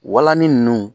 Walanni ninnu